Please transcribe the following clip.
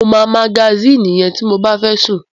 Mo máa magasínì yẹn ti mo bá fẹ́ sùn.